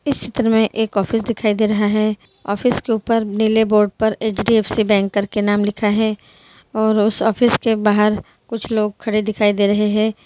इस चित्र में एक ऑफिस दिखाई दे रहा है ऑफिस के ऊपर नीले बोर्ड पर एचडीएफसी बैंक करके नाम लिखा है और उस ऑफिस के बाहर कुछ लोग खड़े हुए दिखाई दे रहे है।